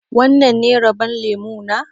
Wannan ne rabon lemu na?